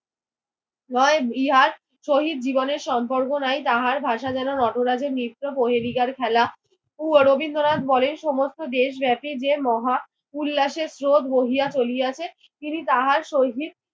নয় ইহার সহিত জীবনের সম্পর্ক নাই। তাহার ভাষা যেন নটরাজের নিত্য প্রহেলিকার খেলা ও রবীন্দ্রনাথ বলেন সমস্ত দেশব্যাপী যে মহা উল্লাসের স্রোত বহিয়া চলিয়াছে তিনি তাহার সহিত